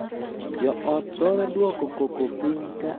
Joot thoro duoko koko piny ka achiel kuomgi tuo ei ot.